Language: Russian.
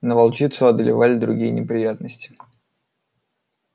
но волчицу одолевали другие неприятности